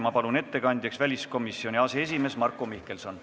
Ma palun ettekandjaks väliskomisjoni aseesimehe Marko Mihkelsoni.